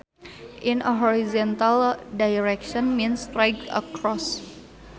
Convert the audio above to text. In a horizontal direction means straight across